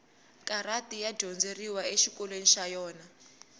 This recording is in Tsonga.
karati ya dyondzeriwa exikolweni xa yona